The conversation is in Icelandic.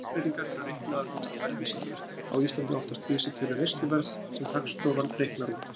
Verðlagsbreytingar eru reiknaðar út frá verðvísitölum, á Íslandi oftast vísitölu neysluverðs sem Hagstofan reiknar út.